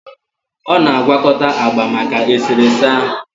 Ọ na-agwakọta agba maka eserese ahụ